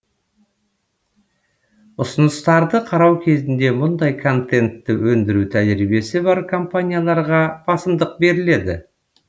ұсыныстарды қарау кезінде мұндай контентті өндіру тәжірибесі бар компанияларға басымдық беріледі